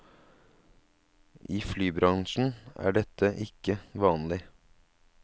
I flybransjen er dette ikke vanlig.